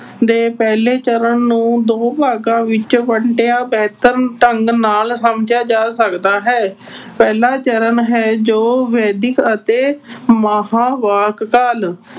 ਦੇ ਪਹਿਲੇ ਚਰਨ ਨੂੰ ਦੋ ਭਾਗਾਂ ਵਿੱਚ ਵੰਡਿਆ, ਬਿਹਤਰ ਢੰਗ ਨਾਲ ਸਮਝਿਆ ਜਾ ਸਕਦਾ ਹੈ। ਪਹਿਲਾ ਚਰਨ ਹੈ ਜੋ ਵੈਦਿਕ ਅਤੇ ਮਹਾਂਵਾਕ ਕਾਲ